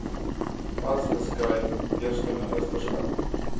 vas geskryf eersteministerskap